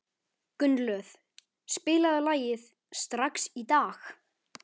Gunnlöð, spilaðu lagið „Strax í dag“.